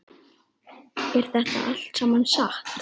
Er þetta allt saman satt?